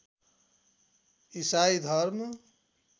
ईसाइ धर्म